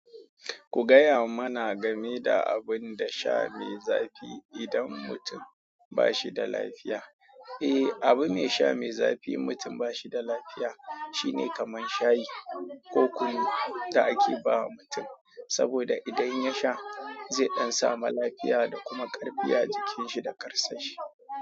Ku gaya mana game da abun da sha mai zafi idan mutum ba shi da lafiya. Eh, abun sha mai zafi mutum ba shi da lafiya shine kamar shayi ko kunu da ake ba wa mutum saboda idan ya sha, zai ɗan samu lafiya da kuma ƙarfi a jikin shi da ƙarsashi.